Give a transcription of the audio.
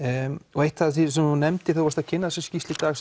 og eitt af því sem þú nefndir þegar þú varst að kynna þessa skýrslu í dag